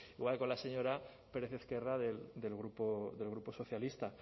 igual que con la señora pérez ezquerra del grupo socialista